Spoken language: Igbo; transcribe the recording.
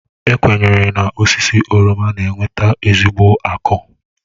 E kwenyere na osisi oroma na-eweta ezigbo akụ.